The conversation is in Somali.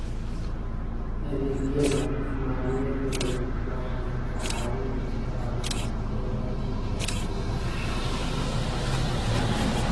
Adeegyada maaliyadeed waxay ka caawin karaan beeralayda inay horumar dheeraad ah sameeyaan.